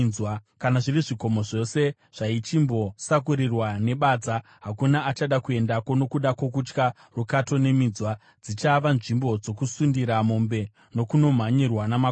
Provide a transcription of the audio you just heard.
Kana zviri zvikomo zvose zvaichimbosakurirwa nebadza, hakuna achada kuendako nokuda kwokutya rukato neminzwa; dzichava nzvimbo dzokusundira mombe nokunomhanyirwa namakwai.